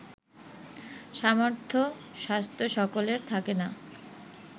সামর্থ্য স্বাস্থ্য সকলের থাকে না